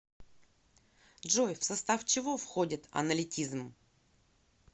джой в состав чего входит аналитизм